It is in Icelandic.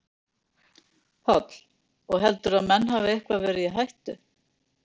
Páll: Og heldurðu að menn hafi eitthvað verið í hættu?